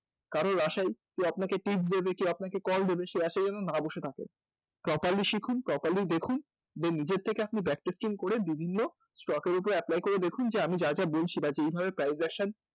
কারোর আশায় কেউ আপনাকে tips দেবে কেউ আপনাকে call দেবে সেই আশায় যেন না বসে থাকেন properly শিখুন properly দেখুন দিয়ে নিজের থেকে আপনি practice করে বিভিন্ন stock এর উপরে apply করে দেখুন যে আমি যা যা বলছি বা যেইভাবে transaction